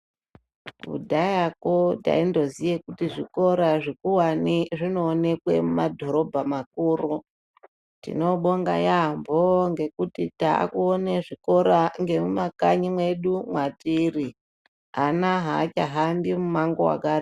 Kudhayako taindoziya kuti zvikora zvikuwane zvinoonekwe mumadhorobha makuru, tinobonga yaambho ngekuti taakuona zvikora ngemumakanyi mwedu mwatiri ana aachahambi mumango wakare ..